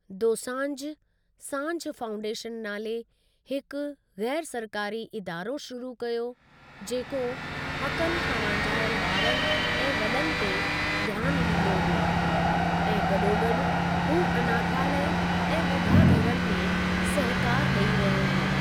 Dosanjh, Saanjh foundation नाले हिकु ग़ैर सरकारी इदारो शुरू कयो, जेको हक़नि खां वांझायल ॿारनि ऐं वॾनि ते ध्यानु ॾींदो हो, ऐं गॾोगॾु हू अनाथालय ऐं ॿुढाघरनि में सहिकारु ॾेई रहियो हो।